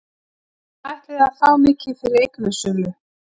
Hvað ætliði að fá mikið fyrir eignasölu?